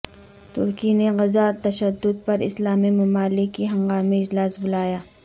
ترکی نے غزہ تشدد پر اسلامی ممالک کی ہنگامی اجلاس بلایا